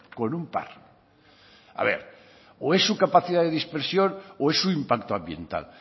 con un par a ver o es su capacidad de dispersión o es su impacto ambiental